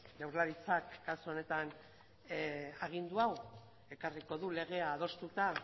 jaurlaritzak kasu honetan agindu hau ekarriko du legea adostuta